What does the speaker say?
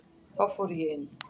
Þá fór ég inn.